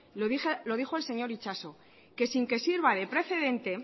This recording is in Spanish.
lo dijo el señor itxaso que sin que sirva de precedente